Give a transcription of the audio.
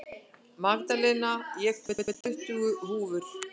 Magdalena, ég kom með tuttugu húfur!